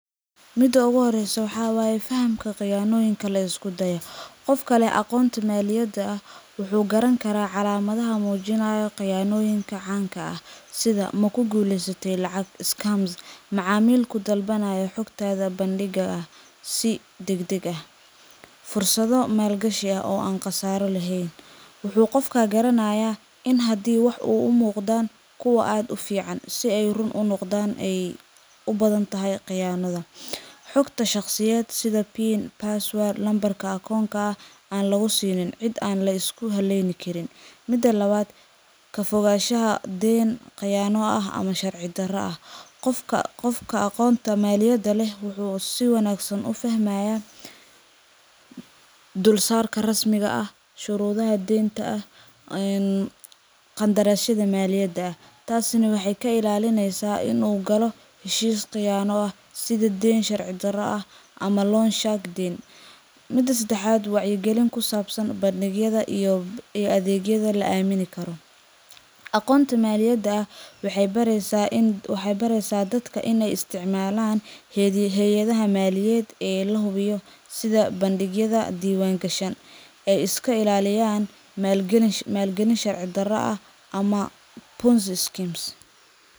Mida oogu horeysa waxaa waye qayaanoyinka laiskudaya. Qofkale aqoonta maaliyada ah wuxuu garankaraa calaamadha muujinaya qayaanoyinka caanka ah sidha makuguleysate lacag scarms macaamilku dalbanaaya xogtadha bandiga ah si dagdag ah. Fursadho maalgashi ah oo an qasaaro laheyn. Wuxu qofka garanaaya in hadi uu wax uu umuuqdaan kuwa aad ufiican si ey run unoqda ey ubadhanyltahy qayaanadha. Xoqta shaqsiyed sidha pin, password ,nambarka akoonka aan lagusiinin cid aan laiskuhaleyni Karin . Mida labaad kafogaashaha deen qayaano ah ama sharci dara ah. Qofka aqoonta maaliyada leh wuxu si wanaagsan ufahmayaa dulsaarka rasmiga ah shurudhaha denta ah qandaraayadha maaliyada ah taas neh waxey kailaalineysa in uu Galo heshiis qiyaano ah sidha Deen sharci Dara ah ama loon shagdin. Mida sedaxad wacyi galin kusaabsan bandgyadha iyo adheeyadha laamini karo. Aqoonta maaliyada ah waxey bareeysa dadku ineey isticmalaan heyadhaha maaliyed ee lahubiyi sidha bandgyadha diwaangasha ee iskailaaliyaan maal galin sharci Dara ah ama ponzi schemes.